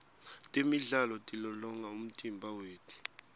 temidlalo tilolonga umtimba wetfu